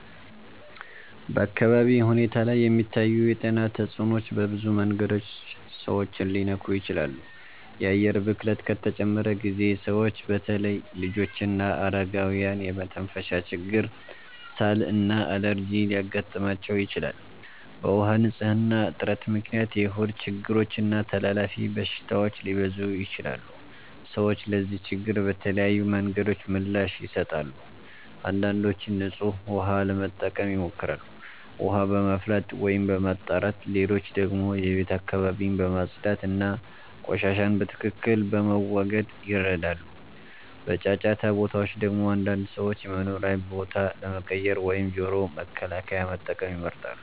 በአካባቢ ሁኔታ ላይ የሚታዩ የጤና ተጽዕኖዎች በብዙ መንገዶች ሰዎችን ሊነኩ ይችላሉ። የአየር ብክለት ከተጨመረ ጊዜ ሰዎች በተለይ ልጆችና አረጋውያን የመተንፈሻ ችግር፣ ሳል እና አለርጂ ሊያጋጥማቸው ይችላል። በውሃ ንፅህና እጥረት ምክንያት የሆድ ችግሮች እና ተላላፊ በሽታዎች ሊበዙ ይችላሉ። ሰዎች ለዚህ ችግር በተለያዩ መንገዶች ምላሽ ይሰጣሉ። አንዳንዶች ንጹህ ውሃ ለመጠቀም ይሞክራሉ፣ ውሃ በማፍላት ወይም በማጣራት። ሌሎች ደግሞ የቤት አካባቢን በማጽዳት እና ቆሻሻን በትክክል በመወገድ ይረዳሉ። በጫጫታ ቦታዎች ደግሞ አንዳንድ ሰዎች የመኖሪያ ቦታ ለመቀየር ወይም ጆሮ መከላከያ መጠቀም ይመርጣሉ።